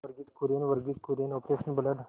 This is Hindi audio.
Verghese Kurien Verghese Kurien operation blood